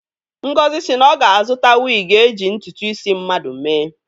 Ngozi si na ọ ga-azụta wigi eje ntụtụ isi mmadụ mee.